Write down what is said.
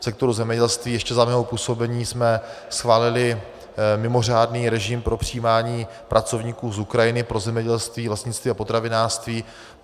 V sektoru zemědělství ještě za mého působení jsme schválili mimořádný režim pro přijímání pracovníků z Ukrajiny pro zemědělství, lesnictví a potravinářství.